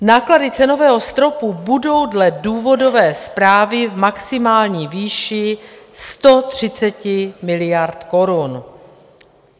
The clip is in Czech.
Náklady cenového stropu budou dle důvodové zprávy v maximální výši 130 miliard korun.